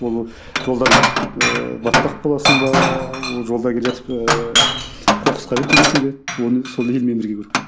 ол жолдан ыыы батпақ боласың ба жолда келе жатып ыыы қоқысқа кіріп кетесің бе оны сол елмен бірге көру керек